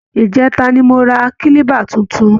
ìjẹta ni mo ra kílíbà tuntun